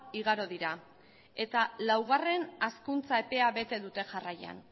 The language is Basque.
igaro dira eta laugarren hazkuntza epea bete dute jarraian